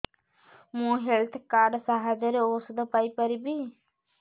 ମୁଁ health card ସାହାଯ୍ୟରେ ଔଷଧ ପାଇ ପାରିବି